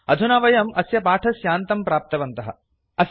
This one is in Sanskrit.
अधुना वयं अस्य पाठस्यान्तं प्राप्तवन्तः